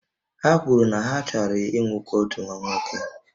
Ha kwuru na ha chọrọ inwekwu otu nwa nwoke